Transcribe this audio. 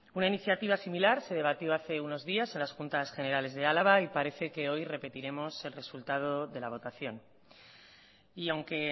una iniciativa similar se debatió hace unos días en las juntas generales de álava y parece que hoy repetiremos el resultado de la votación y aunque